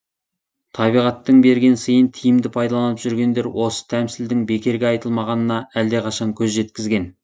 табиғаттың берген сыйын тиімді пайдаланып жүргендер осы тәмсілдің бекерге айтылмағанына әлдеқашан көз жеткізген